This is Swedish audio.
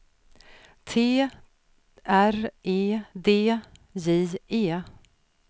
T R E D J E